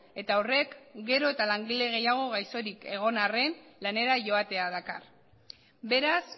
eta horrek gero eta langile gehiago gaixorik egon arren lanera joatea dakar beraz